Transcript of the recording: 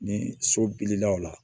Ni so bilila o la